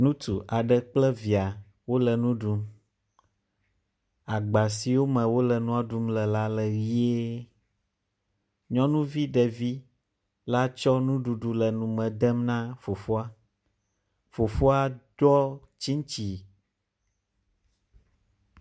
Ŋutsu aɖe kple via wole nu ɖum. Agba siwo wole nua ɖum le la le ʋie. Nyɔnuvi ɖevi la tsɔ nuɖuɖu le nu me dem na fofoa. Fofoa ɖɔ tsiŋtsi.